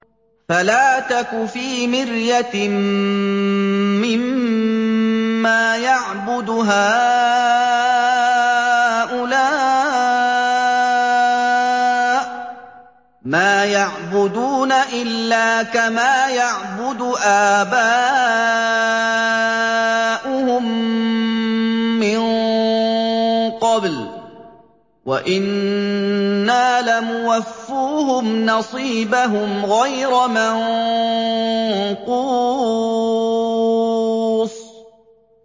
فَلَا تَكُ فِي مِرْيَةٍ مِّمَّا يَعْبُدُ هَٰؤُلَاءِ ۚ مَا يَعْبُدُونَ إِلَّا كَمَا يَعْبُدُ آبَاؤُهُم مِّن قَبْلُ ۚ وَإِنَّا لَمُوَفُّوهُمْ نَصِيبَهُمْ غَيْرَ مَنقُوصٍ